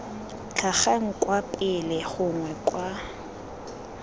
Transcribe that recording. tlhagang kwa pele gongwe kwa